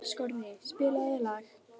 Skorri, spilaðu lag.